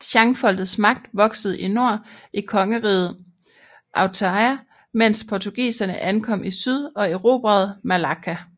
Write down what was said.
Shanfolkets magt voksede i nord i kongeriget Ayutthaya mens portugiserne ankom i syd og erobrede Malacka